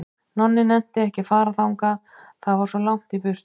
Nonni nennti ekki að fara þangað, það var svo langt í burtu.